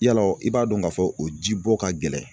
Yalɔ i b'a dɔn k'a fɔ o jibɔ ka gɛlɛn.